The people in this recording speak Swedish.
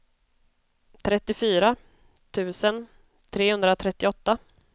trettiofyra tusen trehundratrettioåtta